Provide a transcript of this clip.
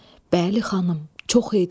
Bəli, xanım, çox idi.